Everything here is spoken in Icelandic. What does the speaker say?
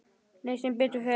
Nei, sem betur fer.